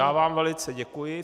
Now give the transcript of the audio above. Já vám velice děkuji.